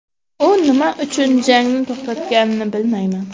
U nima uchun jangni to‘xtatganini bilmayman.